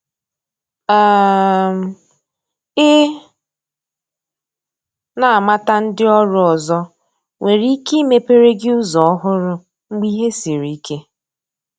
um i na amata ndị ọrụ ọzọ nwere ike imepere gi ụzọ ọhụrụ mgbe ìhè sịrị ike